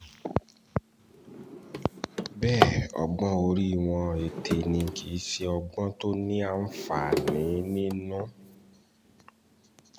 bẹ́ẹ̀ ọgbọ́n orí wọn ète ni kì í ṣe ọgbọ́n tó ní àǹfààní nínú